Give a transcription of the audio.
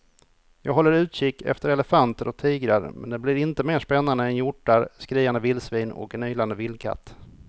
Jag håller utkik efter elefanter och tigrar men det blir inte mer spännande än hjortar, skriande vildsvin och en ylande vildkatt.